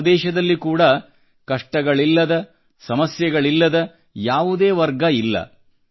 ನಮ್ಮ ದೇಶದಲ್ಲಿ ಕೂಡಾ ಕಷ್ಟಗಳಿಲ್ಲದ ಸಮಸ್ಯೆಗಳಿಲ್ಲದ ಯಾವುದೇ ವರ್ಗವಿಲ್ಲ